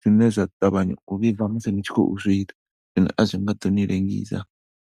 zwine zwa ṱavhanya u vhibva musi ni tshi khou zwiita zwine a zwi nga ḓo ni lengisa.